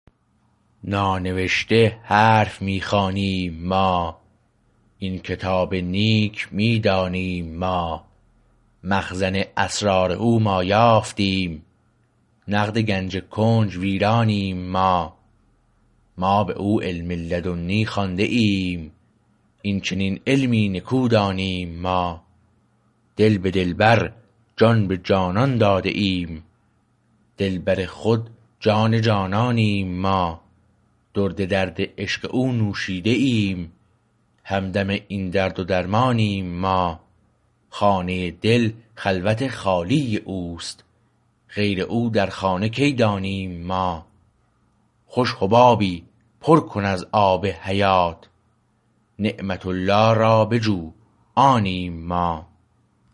نانوشته حرف می خوانیم ما این کتاب نیک می دانیم ما مخزن اسرار او ما یافتیم نقد گنج کنج ویرانیم ما ما باو علم لدنی خوانده ایم این چنین علمی نکو دانیم ما دل به دلبر جان به جانان داده ایم دلبر خود جان جانانیم ما درد درد عشق او نوشیده ایم همدم این درد و درمانیم ما خانه دل خلوت خالی اوست غیر او در خانه کی دانیم ما خوش حبابی پر کن از آب حیات نعمت الله را بجو آنیم ما